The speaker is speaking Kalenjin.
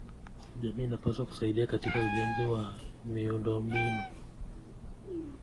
Jamii inapaswa kusaidia katika ujenzi wa miundombinu.